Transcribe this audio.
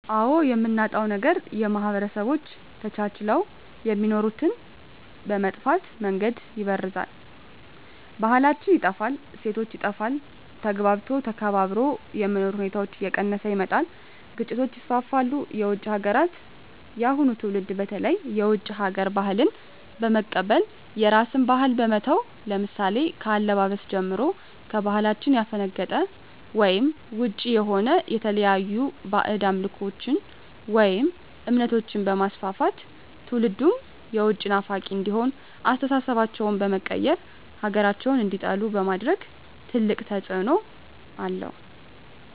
አዎ የምናጣዉ ነገር ማህበረሰቦች ተቻችለዉ የሚኖሩትን በመጥፋ መንገድ ይበርዛል ባህላችን ይጠፋል እሴቶች ይጠፋል ተግባብቶ ተከባብሮ የመኖር ሁኔታዎች እየቀነሰ ይመጣል ግጭቶች ይስፍፍሉ የዉጭ ሀገራትን የአሁኑ ትዉልድ በተለይ የዉጭ ሀገር ባህልን በመቀበል የራስን ባህል በመተዉ ለምሳሌ ከአለባበስጀምሮ ከባህላችን ያፈነቀጠ ወይም ዉጭ የሆነ የተለያዩ ባእጅ አምልኮችን ወይም እምነቶችንበማስፍፍት ትዉልዱም የዉጭ ናፋቂ እንዲሆን አስተሳሰባቸዉ በመቀየር ሀገራቸዉን እንዲጠሉ በማድረግ ትልቅ ተፅዕኖ አለዉ